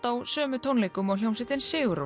á sömu tónleikum og hljómsveitin sigur Rós